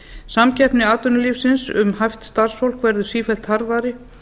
samkeppni atvinnulífsins um hæft starfsfólk verður sífellt harðari